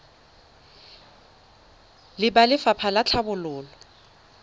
le ba lefapha la tlhabololo